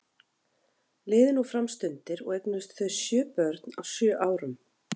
Liðu nú fram stundir og eignuðust þau sjö börn, á sjö árum.